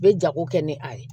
U bɛ jago kɛ ni a ye